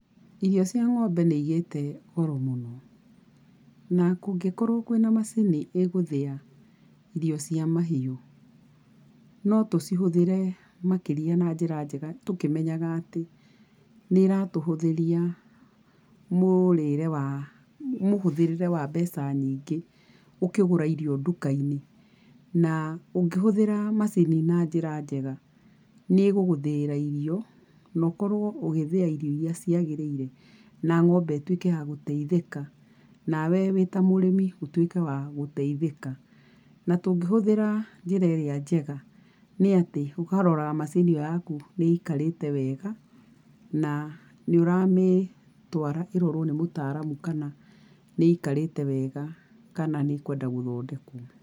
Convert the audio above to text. Irio cia ngombe nĩigĩte goro mũno. Na kũngĩkorwo kwĩna macini ĩgũthia irio cia mahiũ, no tocihũthĩre makĩria na njĩra njega, tũkĩmenyaga atĩ, nĩiratũhũthĩria mũrĩre wa, mũhũthĩrĩre wa mbeca nyingĩ, ũkĩgũra irio ndukainĩ, na ũngĩhũthĩra macini na njĩra njega, nĩiguguthĩirĩ irio, na ũkorwo ũgĩthĩa irio iria ciagĩrĩire na ng’ombe ĩtuĩke ya gũteithĩka, nawe wĩta mũrĩmi ũtuike wa gũteithĩka, na tũngĩhũthĩra njĩra irĩa njega, nĩ atĩ ũkarora macini ĩyo yaku nĩĩikarĩte wega, na nĩũramĩtwara ĩrorwo nĩ mũtaramu kana nĩ ĩikarĩte wega kana nĩ ĩkwenda gũthondekwo.